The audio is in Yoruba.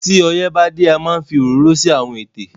tí oyè bá dé a máa ń fí ororo sí Àwọn ètè.